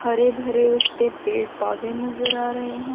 हरे भरे उसपे पेड़ पौधे नजर आ रहे हैं।